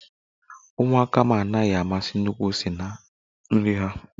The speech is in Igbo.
Ụmụaka m anaghi amasi nnukwu ose na nri ha